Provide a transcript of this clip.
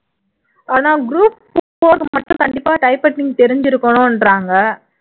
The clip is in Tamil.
ஆனா group four மட்டும் கண்டிப்பா type writer தெரிஞ்சிருக்கணுன்றாங்க